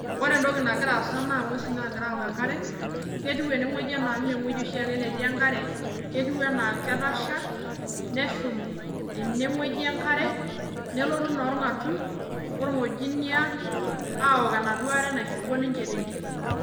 Wore entoki nakira aasa naa inguesin naakira aok enkare, ketiu enewoji enaa mee wueji oshiake netii enkare. Ketiu enaa ketasha, neshum enewuoji enkare, nelotu naa orngatuny, orngojinia, aok enaduo are nairipo ninche tentim.